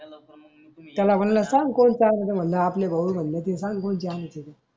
त्याला मनल सांग कोणच आणू त मनल, आपले भाऊ मनल ते कोणत आणू मनल.